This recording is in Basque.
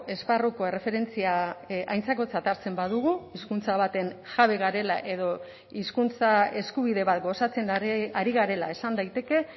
esparruko erreferentzia aintzakotzat hartzen badugu hizkuntza baten jabe garela edo hizkuntza eskubide bat gozatzen ari garela esan daiteke